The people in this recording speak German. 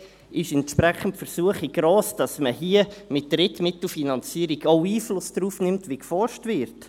Dann ist die Versuchung entsprechend gross, dass man hier mit Drittmittelfinanzierung auch Einfluss darauf nimmt, wie geforscht wird.